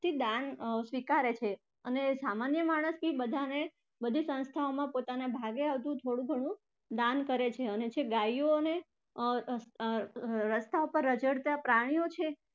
દાન સ્વીકારે છે અને સામાન્ય માણસથી બધાને બધી સંસ્થાઓમાં પોતાના ભાગે આવતી થોડું થોડું દાન કરે છે એટલે ગાયો અન અર રસ્તા પર રઝળતા પ્રાણીઓ છે